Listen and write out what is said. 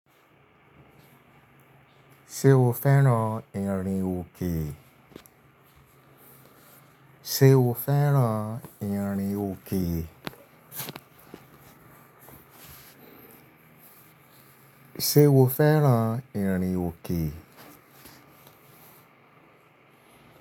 Ṣé o fẹ́ran ìrìnòke? O fẹ́ran ìrìnòke? Ṣé o fẹ́ran ìrìnòke?